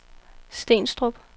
Stenstrup